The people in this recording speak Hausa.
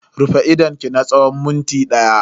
Rufe idonki na tsawon minti daya.